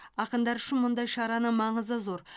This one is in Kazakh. ақындар үшін мұндай шараның маңызы зор